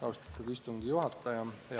Austatud istungi juhataja!